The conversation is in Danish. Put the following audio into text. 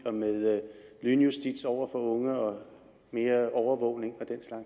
med lynjustits over for unge og mere overvågning